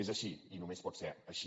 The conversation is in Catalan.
és així i només pot ser així